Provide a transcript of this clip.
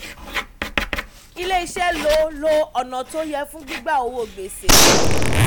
ilé iṣé lo lo ọ̀nà tó yẹ fún gbígba owó gbèsè.